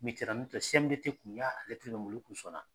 N mitera CMDT tun y'a lɛtɛrɛ ye, olu kun sɔnna